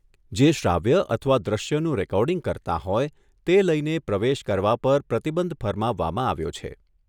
જે શ્રાવ્ય અથવા દૃશ્યનું રેકોર્ડિંગ કરતાં હોય તે લઈને પ્રવેશ કરવા પર પ્રતિબંધ ફરમાવવામાં આવ્યો છે.